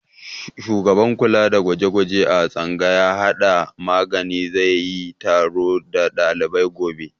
Shugaban kula da gwaje-gwaje a tsangayar hada magani za yi taro da dalibai gobe.